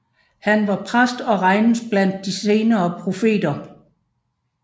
Han var præst og regnes blandt de senere profeter